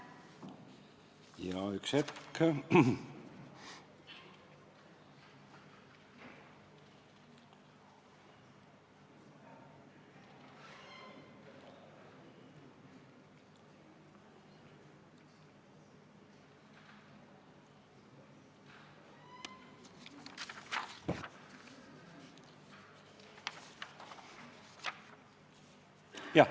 Jaa, üks hetk.